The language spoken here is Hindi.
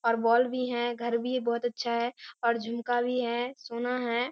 और बॉल भी हैं घर भी बहुत अच्छा है और झूमका भी है सोना है।